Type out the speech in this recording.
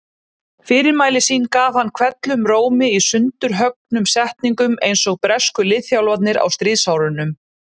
Fyrirmæli sín gaf hann hvellum rómi í sundurhöggnum setningum einsog bresku liðþjálfarnir á stríðsárunum.